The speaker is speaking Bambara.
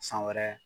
San wɛrɛ